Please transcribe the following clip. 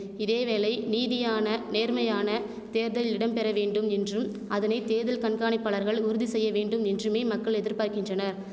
இதேவேளை நீதியான நேர்மையான தேர்தல் இடம்பெற வேண்டும் என்றும் அதனை தேர்தல் கண்காணிப்பாளர்கள் உறுதிசெய்ய வேண்டும் என்றுமே மக்கள் எதிர்பார்க்கின்றனர்